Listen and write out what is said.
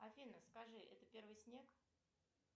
афина скажи это первый снег